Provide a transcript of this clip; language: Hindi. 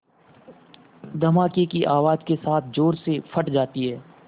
धमाके की आवाज़ के साथ ज़ोर से फट जाती है